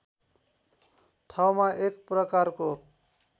ठाउँमा एक प्रकारको